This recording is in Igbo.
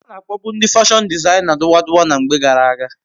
Ana akpobu ndi fashon dizaina duwa duwa na mgbe gara aga